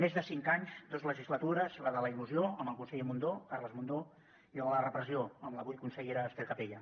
més de cinc anys dos legislatures la de la il·lusió amb el conseller mundó carles mundó i la de la repressió amb l’avui consellera ester capella